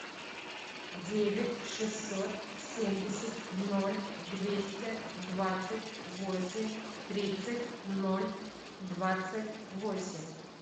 девять шестьсот семьдесят ноль двести двадцать восемь тридцать ноль двадцать восемь